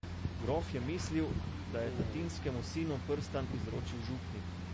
Grof je mislil, da je tatinskemu sinu prstan izročil župnik.